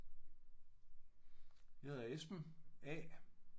Jeg hedder Esben A